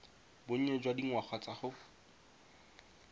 bonnye jwa dingwaga tsa go